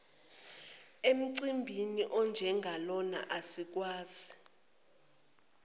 emcimbini onjengalona asikwazi